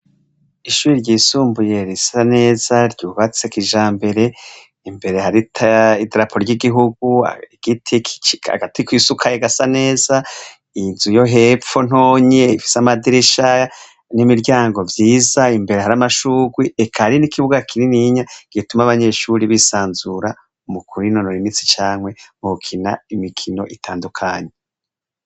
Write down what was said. Ishuri ryisumbuye risa neza ryubatse kijambere imbere hari idarapo ry'igihugu. Igiti, agati kisukaye gasa neza. Inzu yo hepfo ntonyi ifise amadirisha n'imiryango vyiza imbere hari amashugwe eka hari n'ikibuga kinininya gituma abanyeshuri bisanzura mu kwinonora imitsi canke mu gukina imikino itandukanye.